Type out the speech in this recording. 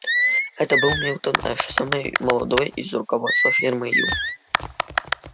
это был милтон эш самый молодой из руководства фирмы ю